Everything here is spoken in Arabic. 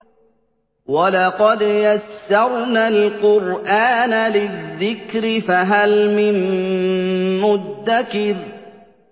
وَلَقَدْ يَسَّرْنَا الْقُرْآنَ لِلذِّكْرِ فَهَلْ مِن مُّدَّكِرٍ